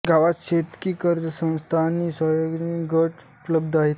गावात शेतकी कर्ज संस्था आणि स्वयंसहाय्य गट उपलब्ध आहे